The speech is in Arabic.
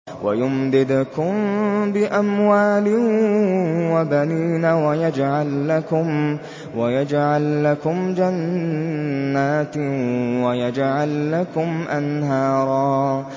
وَيُمْدِدْكُم بِأَمْوَالٍ وَبَنِينَ وَيَجْعَل لَّكُمْ جَنَّاتٍ وَيَجْعَل لَّكُمْ أَنْهَارًا